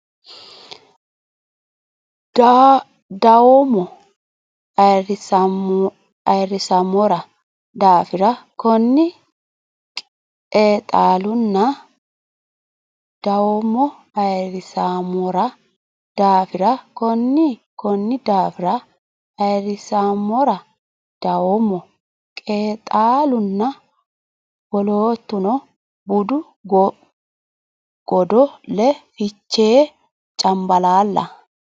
dawoommo Ayirrisammora daafira Konni qeexaalunna dawoommo Ayirrisammora daafira Konni Konni daafira Ayirrisammora dawoommo qeexaalunna wolootuno budu godo le Fichee Cambalaalla !